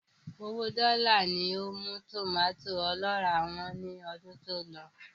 Owóo dọ́là ni ó mú tòmàtó ọlọ́ràá wọ́n lọ́dún tí ó lọ.